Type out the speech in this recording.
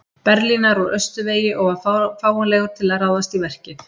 Berlínar úr austurvegi og var fáanlegur til að ráðast í verkið.